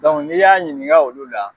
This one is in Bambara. n'i y'a ɲininka olu la